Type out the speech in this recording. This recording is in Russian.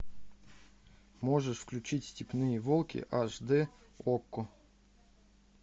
можешь включить степные волки аш д окко